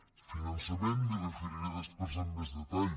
al finançament m’hi referiré després amb més detall